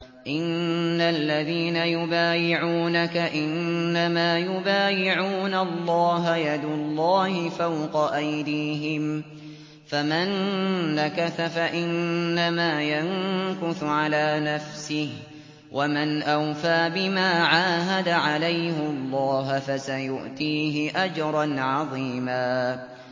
إِنَّ الَّذِينَ يُبَايِعُونَكَ إِنَّمَا يُبَايِعُونَ اللَّهَ يَدُ اللَّهِ فَوْقَ أَيْدِيهِمْ ۚ فَمَن نَّكَثَ فَإِنَّمَا يَنكُثُ عَلَىٰ نَفْسِهِ ۖ وَمَنْ أَوْفَىٰ بِمَا عَاهَدَ عَلَيْهُ اللَّهَ فَسَيُؤْتِيهِ أَجْرًا عَظِيمًا